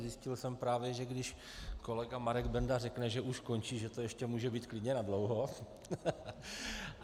Zjistil jsem právě, že když kolega Marek Benda řekne, že už končí, že to ještě může být klidně nadlouho.